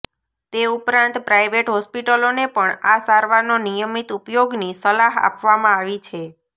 તે ઉપરાંત પ્રાઈવેટ હોસ્પિટલોને પણ આ સારવારનો નિયમિત ઉપયોગની સલાહ આપવામાં આવી છે